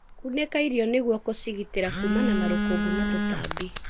Kunĩka irio nĩguo gũkĩgitĩra kumana na rũkũngu na tutambi.